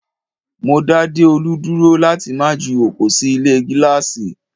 Mó dá Deolu dúró láti má ju oko sì ilé gíláàsì